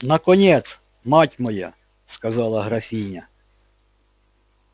наконец мать моя сказала графиня